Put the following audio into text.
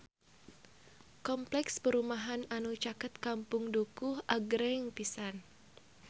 Kompleks perumahan anu caket Kampung Dukuh agreng pisan